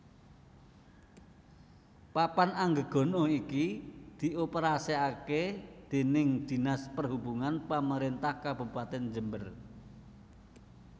Papan Anggegana iki dioperasikake déning Dinas Perhubungan Pemerintah Kabupatèn Jember